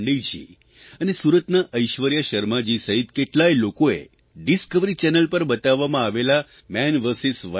પાંડેયજી અને સુરતનાં ઐશ્વર્યા શર્માજી સહિત કેટલાય લોકોએ ડિસ્કવરી ચેનલ પર બતાવવામાં આવેલા માન વીએસ